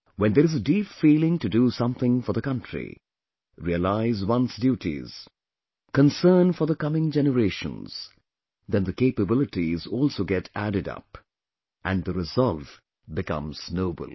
When there is a deep feeling to do something for the country, realize one's duties, concern for the coming generations, then the capabilities also get added up, and the resolve becomes noble